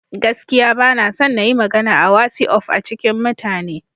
Gaskiya ba na son na yi magana a wasi'of a cikin mutane.